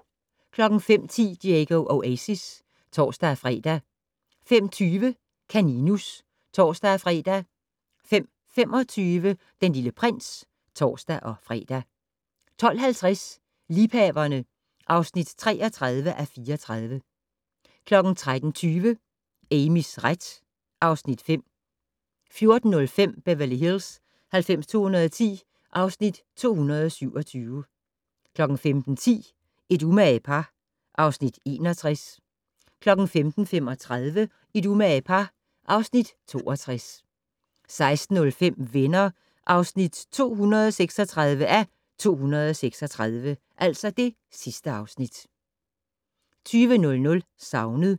05:10: Diego Oasis (tor-fre) 05:20: Kaninus (tor-fre) 05:25: Den Lille Prins (tor-fre) 12:50: Liebhaverne (33:34) 13:20: Amys ret (Afs. 5) 14:05: Beverly Hills 90210 (Afs. 227) 15:10: Et umage par (Afs. 61) 15:35: Et umage par (Afs. 62) 16:05: Venner (236:236) 20:00: Savnet